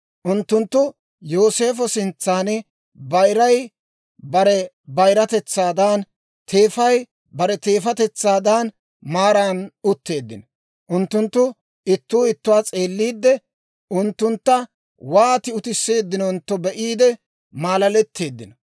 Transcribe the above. Unttunttu Yooseefo sintsan bayiray bare bayiratetsaadan, teefay bare teefatetsaadan maaran utteeddino. Unttunttu ittuu ittuwaa s'eelliide, unttuntta wooti utisseeddinontto be'iide maalaleteeddino.